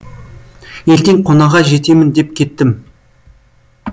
ертең қонаға жетемін деп кеттім